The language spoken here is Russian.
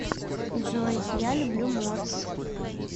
джой я люблю морс